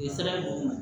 U ye sara d'u ma